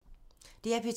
DR P2